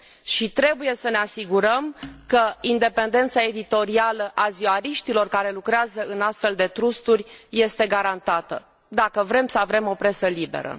Și trebuie să ne asigurăm că independența editorială a ziariștilor care lucrează în astfel de trusturi este garantată, dacă vrem să avem o presă liberă.